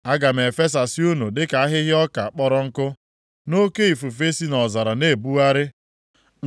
“Aga m efesasị unu dịka ahịhịa ọka kpọrọ nkụ, nke oke ifufe si nʼọzara na-ebugharị.